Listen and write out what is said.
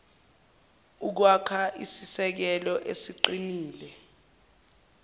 ukwakha isisekelo esiqinile